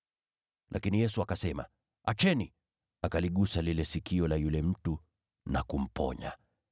Lakini Yesu akasema, “Acheni!” Akaligusa lile sikio la yule mtu na kumponya.